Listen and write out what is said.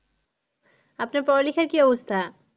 আপনার পড়ালেখার কি অবস্থা?